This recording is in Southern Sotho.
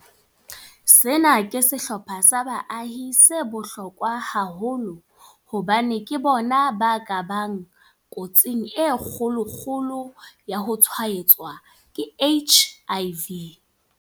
Sena ke sehlopha sa baahi se bohlokwa haholo hobane ke bona ba ka bang kotsing e kgolo-kgolo ya ho tshwaetswa ke HIV.